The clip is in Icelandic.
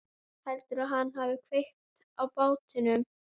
Heldurðu að hann hafi kveikt í bátnum?